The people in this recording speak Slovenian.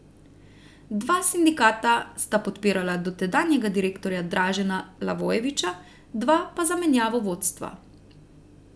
Dva sindikata sta podpirala dotedanjega direktorja Dražena Levojevića, dva pa zamenjavo vodstva.